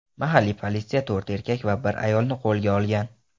Mahalliy politsiya to‘rt erkak va bir ayolni qo‘lga olgan.